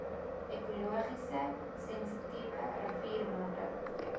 ekologies sensitiewe riviermondings